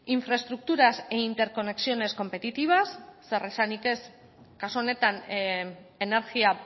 infraestructuras e interconexiones competitivas zer esanik ez kasu honetan energia